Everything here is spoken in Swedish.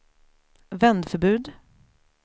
vändförbud